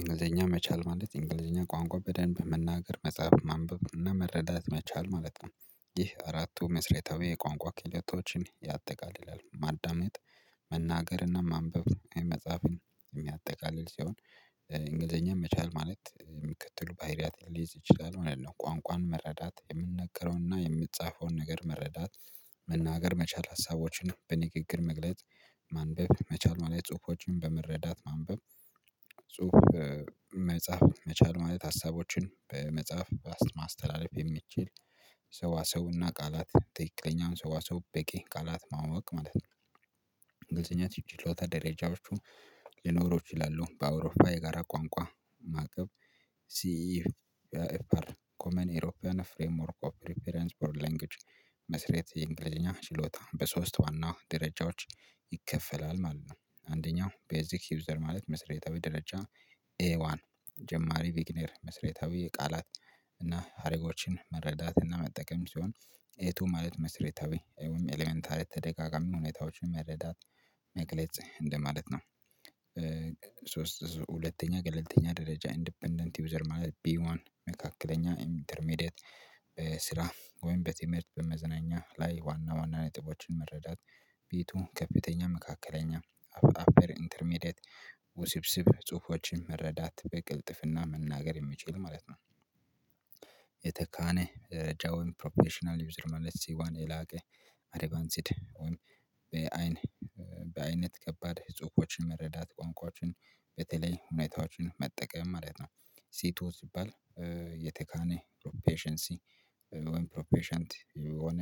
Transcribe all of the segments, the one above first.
እንግሊዘኛ መቻል ማለት እንግሊዘኛ ቋንቋ በደንብ በመናገር መጻፍ ማንበብ እና መረዳት መቻል ማለት ነው። ይህ አራቱ መሰረታዊ የቋንቋ ክህሎቶችን ያጠቃልላል። ማዳመጥ መናገርና ማንበብ እንዲሁም መጻፍ የሚያጠቃልል ሲሆን። እንግሊዘኛ መቻል ማለት የሚከተሉ ባይሪያትን ሊይዝ ይችላል ማለት ነው። ቋንቋን መረዳት የሚነግረውንና የምጻፈውን ነገር መረዳት። መናገር መቻል ሀሳቦችን በንግግር መግለጽ። ማንበብ መቻል መላ ጽሁፎችን በመረዳት ማንበብ። ጽሁፍ መጻፍ መቻል ማለት ሀሳቦችን በመጽሐፍ ማስተላለፍ የሚችል። ሰዋሰውና ቃላት ትክክለኛ ሰዋሰው በቂ ቃላት ማወቅ ማለት ነው። እንግሊዘኛ ችሎታ ደረጃዎቹ ሊኖሩ ይችላሉ በአውሮፓ የጋራ ቋንቋ። ሲ ኤፍአር ኮመን ኤውሮፓን ፍሬምወርክ ኦፍ ሪፈረንስ ፎር ላንጉጅ መሰረት የእንግሊዘኛ ችሎታ በሶስት ዋና ደረጃዎች ይከፈላል ማለት ነው። አንደኛው ቤዚክ ዩዘር ማለት መሰረታዊ ደረጃ። ኤዋን ጀማሪ ቢግነየር መሰረታዊ የቃላት እና ሀረጎችን መረዳት እና መጠቀም ሲሆን። ኤቱ ማለት መሰረታዊ ይወም ኤሌመንታሪ ተደጋጋሚ ሁኔታዎችን መረዳት መግለጽ እንደማለት ነው። ሶስት ሁለተኛ ገለልተኛ ደረጃ ኢንዲፔንደንት ዩዘር ማለት ቢዋን መካከለኛ ኢንተርሜዲየት። በስራ ወይም በትምህርት በመዝናኛ ላይ ዋና ዋና ነጥቦችን መረዳት። ቤቱ ከፍተኛ መካከለኛ አፐር ኢንተርሜዲየት ውስብስብ ጽሁፎችን መረዳት በግልጥፍና መናገር የሚችል ማለት ነው። የተካነ ደረጃ ወይም ፕሮፌሽናል ዩዘር ማለት ሲዋን የላቀ። አድቫንስድ ወይም በአይን በአይነት ከባድ ጽሁፎች መረዳት ቋንቋችን በተለይ ሁኔታዎችን መጠቀም ማለት ነው። ሲቱ ሲባል የተካነ ፕሮፌሽንሲ ወይም ፕሮፌሽንት የሆነ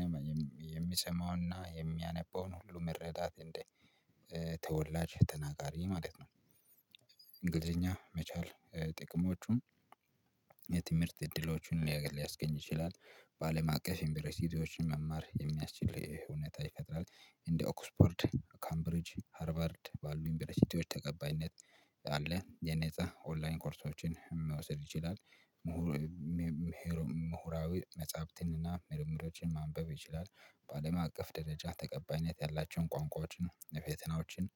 የሚሰማውና የሚያነበውን ነው መረዳት እንደ ተወላጅ ተናጋሪ ማለት ነው። እንግሊዘኛ መቻል ጥቅሞቹም የትምህርት እድሎቹን ሊያስገኝ ይችላል። ባለማቀፍ ዩንበሮሲቲዎችን መማር የሚያስችል እውነታ ይፈጥራል። እንደ ኦክስፖርድ ካምብሪጅ ሃርቨርድ ባሉ ዩንበሮሲቲዎች ተቀባይነት አንድ ላይ የነፃ ኦንላይን ኮርሶችን መውሰድ ይችላል። ምሁር ምሁራዊ መጽሐፍትንና ምርምሮችን ማንበብ ይችላል። በአለም አቀፍ ደረጃ ተቀባይነት ያላቸውን ቋንቋዎችን የፈተናዎችን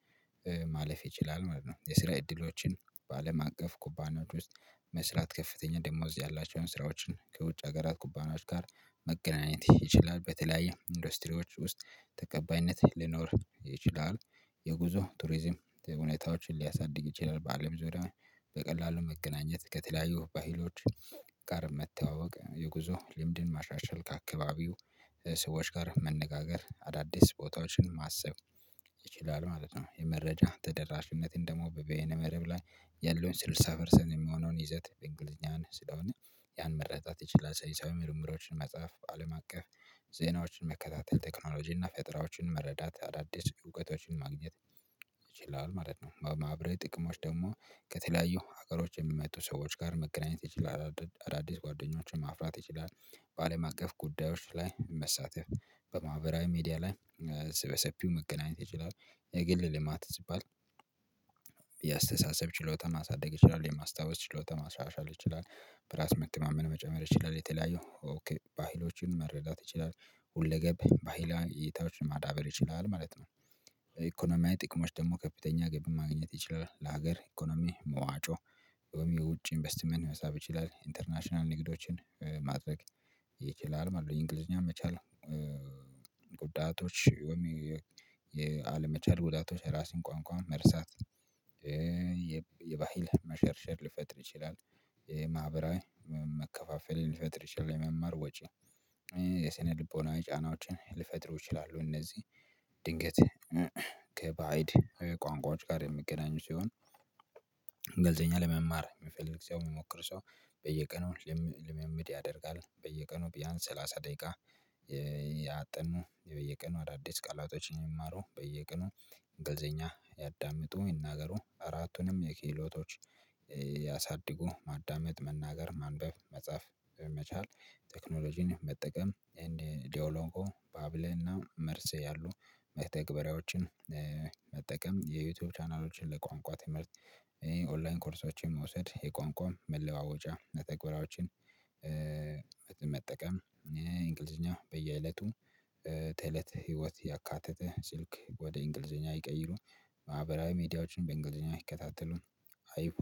ማለፍ ይችላል ማለት ነው። የስራ እድሎችን በአለም አቀፍ ኩባኖች ውስጥ መስራት ከፍተኛ ደሞዝ ያላቸውን ስራዎችን ከውጭ ሀገራት ኩባናዊ ጋር መገናኘት ይችላል በተለያዩ ኢንዱስትሪዎች ውስጥ ተቀባይነት ሊኖር ይችላል። የጉዞ ቱሪዝም ሁኔታዎችን ሊያሳድግ ይችላል ባአለም ዙሪያ በቀላሉ መገናኘት ከተለያዩ ባህሎች ጋር መተዋወቅ የጉዞ ልምድን ማሻሻል ከአካባቢው ሰዎች ጋር መነጋገር አዳዲስ ቦታዎችን ማሰብ ይችላል ማለት ነው። የመረጃ ተደራሽነትን ደግሞ በየነ መረብ ላይ ያለውን ስልሳ ፐርሰንት የሚሆነውን ይዘት እንግሊዝኛን ስለሆነ ያን መረዳት ይችላል። ሰይንሳዊ ምርምሮችን መጽሐፍ አለም አቀፍ ዜናዎችን መከታተል ቴክኖሎጂ እና ፈጥራዎችን መረዳት አዳዲስ እውቀቶችን ማግኘት ይችላል ማለት ነው። በማህበራዊ ጥቅሞች ደግሞ ከተለያዩ ሀገሮች የሚመጡ ሰዎች ጋር መገናኘት ይችላል አዳዲስ ጓደኞችን ማፍራት ይችላል። በአለም አቀፍ ጉዳዮች ላይ መሳተፍ በማህበራዊ ሚዲያ ላይ በሰፊው መገናኘት ይችላል። የግል ልማት ሲባል የአስተሳሰብ ችሎታ ማሳደግ ይችላል የማስታወስ ችሎታ ማስመሻሻል ይችላል በራስ መተማመን መጨመር ይችላል የተለያዩ በሃይሎቹን መረዳት ይችላል ሁለገብ በህላዊ እይታዎችን ማዳበር ይችላል ማለት ነው። ኢኮኖሚያዊ ጥቅሞች ደግሞ ከፍተኛ ገቢ ማግኘት ይችላል ለሀገር ኢኮኖሚ መዋጮ ወይም የውጭ ኢንቨስትመንት መሳብ ይችላል ኢንተርናሽናል ንግዶችን ማድረግ ይችላል ማለት ነው። እንግሊዝኛን መቻል። ጉዳቶች ወይም የአለመቻል ጉዳቶች የራስን ቋንቋ መርሳት የባህል መሸርሸር ልፈጥር ይችላል። የማህበራዊ መከፋፈልን ልፈጥር ይችላል። የመማር ወጪ የሰነልቦና ጫናዎችን ልፈጥሩ ይችላሉ እነዚህ ድንገት ከባእድ ቋንቋዎች ጋር የሚገናኙ ሲሆን። ገለልተኛ ለመማር የሚፈልግ ሰው የሚሞክር ሰው በየቀኑ ልምምድ ያደርጋል። በየቀኑ ቢያንስ ሰላሳ ደቂቃ እያጠኑ በየቀኑ አዳዲስ ቃላቶችን ይማሩ በየቀኑ እንግሊዘኛ ያዳምጡ ይናገሩ አራቱንም የክህሎቶች። ያሳድጉ ማዳመጥ መናገር ማንበብ መጻፍ በመቻል ቴክኖሎጂን መጠቀም እንድ ዲዮሎጎ ባብል እና መርስ ያሉ መተግበሪያዎችን። መጠቀም የዩቲዩብ ቻናሎችን ለቋንቋ ትምህርት ኦንላይን ኮርሶችን መውሰድ የቋንቋውን መለዋወጫ መተግባሪያዎችን። መጠቀም እንግሊዝኛ በየእለቱ ተእለተ ህይወት ያካተተ ስልክ ወደ እንግሊዘኛ ይቀይሩን ማህበራዊ ሚዲያዎችን በእንግሊዘኛ ይከታተሉን። አይፎ